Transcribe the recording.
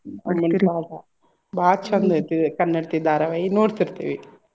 ಭಾಳ್ ಚಂದ್ ಐತಿ ಕನ್ನಡತಿ ಧಾರವಾಹಿ ನೋಡ್ತಿರ್ತೆವಿ.